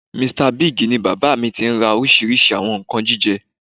Mr Big ni bàbá mi tí ń ra oríṣìíríṣìí àwọn nǹkan jíjẹ